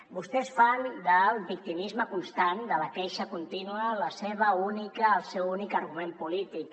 vostès fan del victimisme constant de la queixa contínua el seu únic argument polític